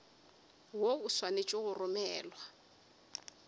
woo o swanetše go romelwa